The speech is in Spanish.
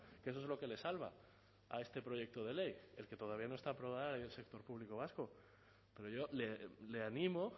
que eso es lo que le salva a este proyecto de ley el que todavía no está aprobada sector público vasco pero yo le animo